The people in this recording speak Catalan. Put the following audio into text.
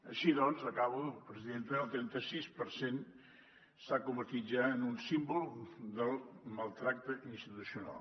així doncs acabo presidenta el trenta sis per cent s’ha convertit ja en un símbol del maltractament institucional